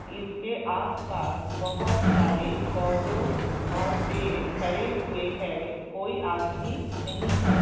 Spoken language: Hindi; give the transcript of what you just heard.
इसके आसपास बहुत सारे पौधे और पेड़ लगे हुए है और कोई आदमी नही है।